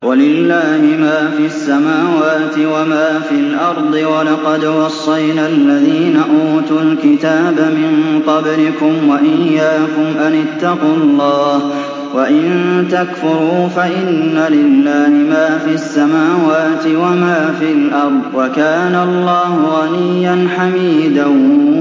وَلِلَّهِ مَا فِي السَّمَاوَاتِ وَمَا فِي الْأَرْضِ ۗ وَلَقَدْ وَصَّيْنَا الَّذِينَ أُوتُوا الْكِتَابَ مِن قَبْلِكُمْ وَإِيَّاكُمْ أَنِ اتَّقُوا اللَّهَ ۚ وَإِن تَكْفُرُوا فَإِنَّ لِلَّهِ مَا فِي السَّمَاوَاتِ وَمَا فِي الْأَرْضِ ۚ وَكَانَ اللَّهُ غَنِيًّا حَمِيدًا